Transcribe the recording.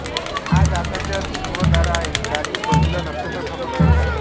आज आकशात ध्रुवतारा आहे चारी बजुला नक्षत्र भ्रमण करत आहे